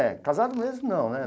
É, casado mesmo não, né?